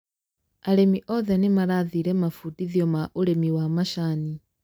arĩmi othe nĩmarathire mambũndithio ma ũrĩmi wa macani